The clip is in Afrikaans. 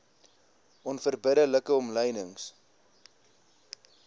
onverbidde like omlynings